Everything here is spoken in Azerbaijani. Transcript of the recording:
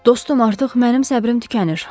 Dostum, artıq mənim səbrim tükənir.